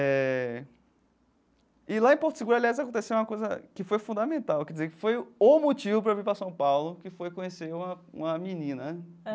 Éh, e lá em Porto Seguro, aliás, aconteceu uma coisa que foi fundamental, quer dizer, que foi o motivo para eu vir para São Paulo, que foi conhecer uma uma menina, né?